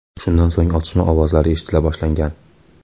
Shundan so‘ng otishma ovozlari eshitila boshlangan.